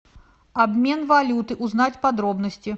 обмен валюты узнать подробности